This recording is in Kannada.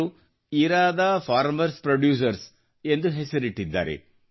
ಅವರು ಇರಾದಾ ಫಾರ್ಮರ್ಸ್ ಪ್ಯೊಡ್ಯೂಸರ್ಸ್ ಎಂದು ಹೆಸರಿಟ್ಟಿದ್ದಾರೆ